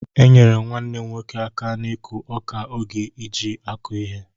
Enyere m nwannem nwoke aka n'ikụ ọka oge eji akụ ihe.